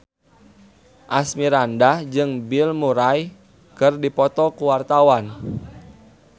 Asmirandah jeung Bill Murray keur dipoto ku wartawan